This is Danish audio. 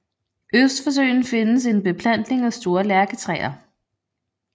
Øst for søen findes en beplantning af store lærketræer